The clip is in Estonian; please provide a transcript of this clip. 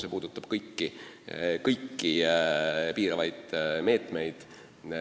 See puudutab kõiki piiravaid meetmeid.